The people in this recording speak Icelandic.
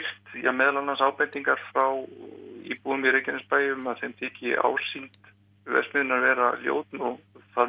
meðal annars ábendingar frá íbúum Reykjanesbæjar um að þeim þyki ásýnd verksmiðjunnar vera ljót og